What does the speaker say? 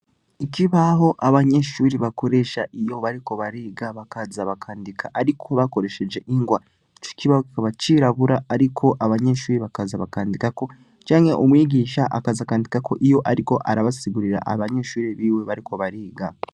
ikibaho abanyeshure bakoresha bariko bariga bakaza bakandika ariko bakoresheje ingwa kibaho kikaba cirabura ariko abanyeshure bakaza bakandikako canke umwigisha akaza akandikako ariko asigurira abanyeshure biwe bariko bariga